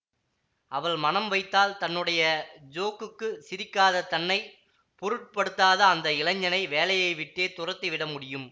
அவள் மனம் வைத்தால் தன்னுடைய ஜோக்குக்குச் சிரிக்காத தன்னை பொருட்படுத்தாத அந்த இளைஞனை வேலையைவிட்டே துரத்திவிட முடியும்